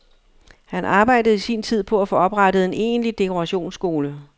Han arbejdede i sin tid på at få oprettet en egentlig dekorationsskole.